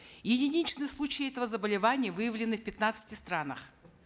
единичные случаи этого заболевания выявлены в пятнадцати странах